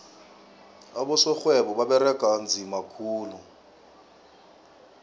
abosorhwebo baberega nzima khulu